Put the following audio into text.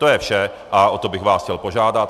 To je vše a o to bych vás chtěl požádat.